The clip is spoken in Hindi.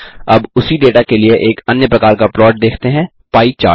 अब उसी डेटा के लिए एक अन्य प्रकार का प्लॉट देखते हैं पाई चार्ट